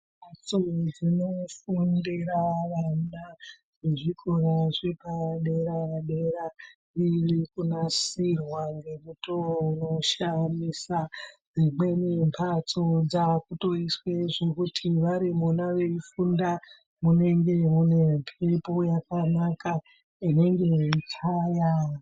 Mphatso dzinofundira vana vezvikora zvepadera-dera zviri kunasirwa ngemutoo unoshamisa dzimweni mphatso dzaakutoiswa zvekuti vari Mona veifunda munenge mune mphepo yakanaka inenge yeichaya.